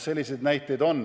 Selliseid näiteid on.